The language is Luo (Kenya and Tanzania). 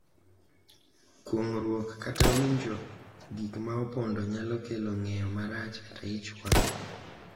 Kuong’ruok kata winjo gik ma opondo nyalo kelo ng’eyo marach kata ich wang’,